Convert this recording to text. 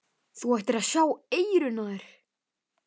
Þú ættir að sjá eyrun á þér!